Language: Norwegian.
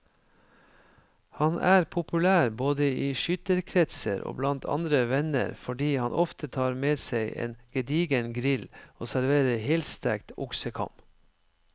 Han er populær både i skytterkretser og blant andre venner fordi han ofte tar med seg en gedigen grill og serverer helstekt oksekam.